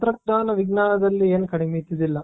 ತಂತ್ರಜ್ಞಾನ ವಿಜ್ಞಾನದಲ್ಲಿ ಏನು ಕಡಿಮೆ ಇದ್ದೂದಿಲ್ಲಾ.